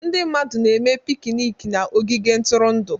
Ndị mmadụ na-eme pikniiki na ogige ntụrụndụ.